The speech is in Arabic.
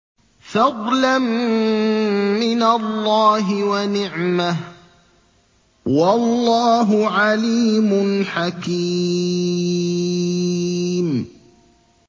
فَضْلًا مِّنَ اللَّهِ وَنِعْمَةً ۚ وَاللَّهُ عَلِيمٌ حَكِيمٌ